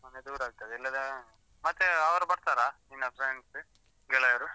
ಮನೆ ದೂರ ಆಗ್ತದೆ, ಇಲ್ಲಾಂದ್ರೆ, ಮತ್ತೇ ಅವ್ರ್ ಬರ್ತಾರಾ? ನಿನ್ನ friends , ಗೆಳೆಯರು?